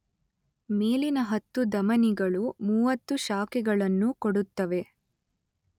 ಮೇಲಿನ ಹತ್ತು ಧಮನಿಗಳು ಮೂವತ್ತು ಶಾಖೆಗಳನ್ನು ಕೊಡುತ್ತವೆ.